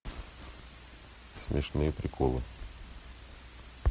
смешные приколы